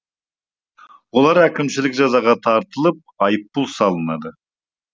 олар әкімшілік жазаға тартылып айыппұл салынады